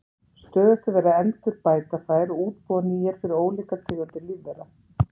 Stöðugt er verið að endurbæta þær og útbúa nýjar fyrir ólíkar tegundir lífvera.